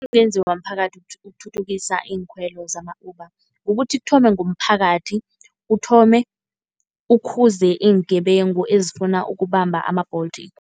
Okungenziwa mphakathi ukuthuthukisa iinkhwelo zama-Uber. Kukuthi kuthome ngomphakathi uthome ukhuze iingebengu ezifuna ukubamba ama-Bolt.